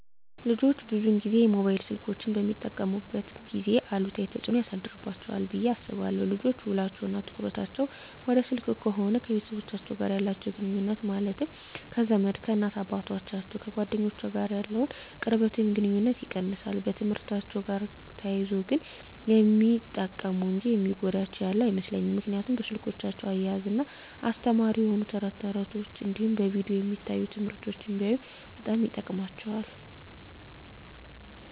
ልጆች ብዙን ጊዜ ሞባይል ስልኮችን በሚጠቀሙበት ጊዜ አሉታዊ ተፅዕኖ ያሳድርባቸዋል ብየ አስባለው ልጆች ውሎቸው እና ትኩረታቸውን ወደ ስልክ ከሆነ ከቤተሰቦቻቸው ጋር ያላቸውን ግኑኙነት ማለትም ከዘመድ፣ ከእናት አባቶቻቸው፣ ከጓደኞቻቸው ጋር ያለውን ቅርበት ወይም ግኑኝነት ይቀንሳል። በትምህርትአቸው ጋር ተያይዞ ግን ሚጠቀሙ እንጂ የሚጎዳቸው ያለ አይመስለኝም ምክንያቱም በስልኮቻቸው እያዝናና አስተማሪ የሆኑ ተረት ተረቶች እንዲሁም በቪዲዮ የሚታዩ ትምህርቶችን ቢያዩ በጣም ይጠቅማቸዋል።